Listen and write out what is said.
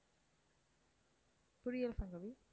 புரியல சங்கவி.